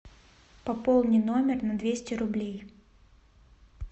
пополни номер на двести рублей